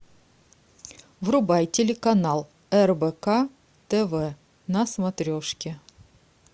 врубай телеканал рбк тв на смотрешке